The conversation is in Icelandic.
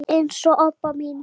eins og Obba mín.